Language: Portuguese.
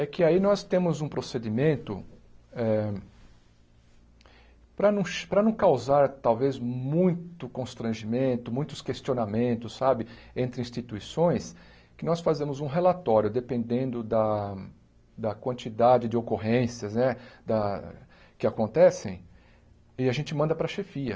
É que aí nós temos um procedimento eh para não ch para não causar, talvez, muito constrangimento, muitos questionamentos, sabe, entre instituições, que nós fazemos um relatório, dependendo da da quantidade de ocorrências né da que acontecem, e a gente manda para a chefia.